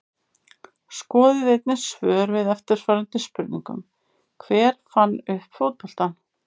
Skoðið einnig svör við eftirfarandi spurningum Hver fann upp fótboltann?